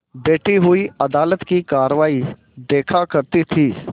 बैठी हुई अदालत की कारवाई देखा करती थी